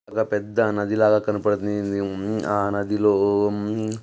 ఒక్క పెద్ద నదిలగా కనపడుతుంది. అ నదిలో --